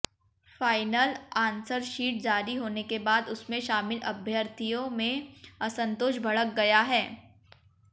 final answer sheet जारी होने के बाद उसमें शामिल अभ्यर्थियों में असंतोष भड़क गया है